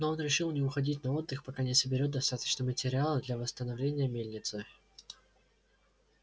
но он решил не уходить на отдых пока не соберёт достаточно материала для восстановления мельницы